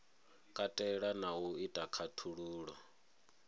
katela na u ita khaṱhululo